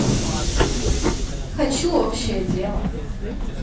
хочу общее дело